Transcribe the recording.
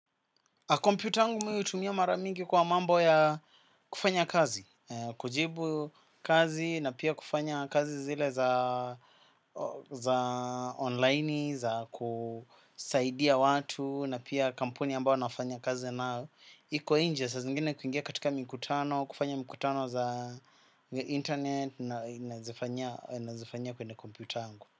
Kompyuta yangu mui utumia maramingi kwa mambo ya kufanya kazi, kujibu kazi na pia kufanya kazi zile za online, za kusaidia watu na pia kampuni ambao nafanya kazi na iko inje, sa zingine kuingia katika mkutano, kufanya mkutano za internet na inazifanya kwende komputangu.